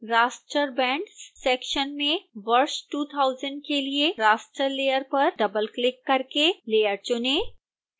raster bands सेक्शन में वर्ष 2000 के लिए raster layer पर डबलक्लिक करके layer चुनें